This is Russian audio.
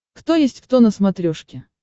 кто есть кто на смотрешке